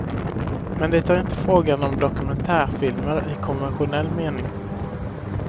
Men det är inte frågan om dokumentärfilmer i konventionell mening.